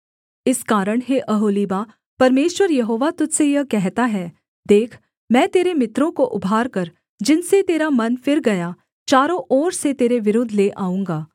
इस कारण हे ओहोलीबा परमेश्वर यहोवा तुझ से यह कहता है देख मैं तेरे मित्रों को उभारकर जिनसे तेरा मन फिर गया चारों ओर से तेरे विरुद्ध ले आऊँगा